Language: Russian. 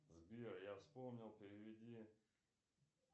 сбер я вспомнил переведи